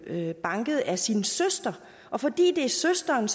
blevet banket af sin søster og fordi det er søsteren